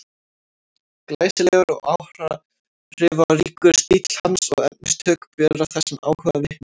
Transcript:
Glæsilegur og áhrifaríkur stíll hans og efnistök bera þessum áhuga vitni.